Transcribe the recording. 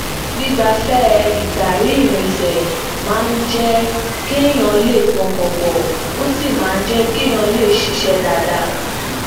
gbigbafẹ ltari irinsẹ máa ń jé kéèyàn lè pọkàn pọ ó sì máa ń jé kéèyàn lè ṣiṣẹ dáadáa